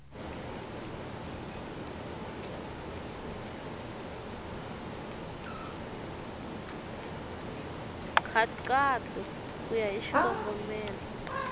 nkhaqato ku ya hi xikongomelo